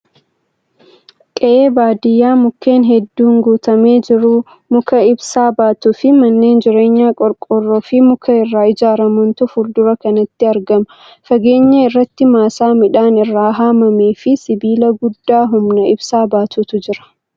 Qe'ee baadiyyaa mukkeen hedduun guutamee jiru. Muka ibsaa baatuu fi manneen jireenyaa qorqoorroo fi muka irraa ijaaramantu fuuldura kanatti argama. Fageenya irratti maasaa midhaan irraa haamamee fi sibiila guddaa humna ibsaa baatutu jira.